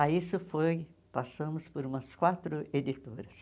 Aí isso foi, passamos por umas quatro editoras.